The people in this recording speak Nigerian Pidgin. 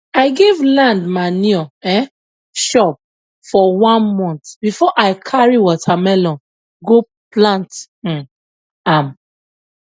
i give land manure um chop for one month before i carry watermelon go plant um am